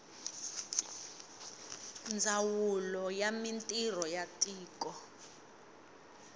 ndzawulo ya mintirho ya tiko